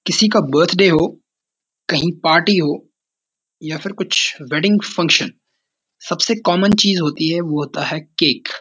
किसी का बर्थडे हो कहीं पार्टी हो यह फिर कुछ वेडिंग फंक्शन सबसे कॉमन चीज़ होती है वो होता है केक ।